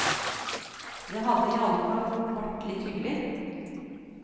Det hadde i alle fall vært litt hyggelig.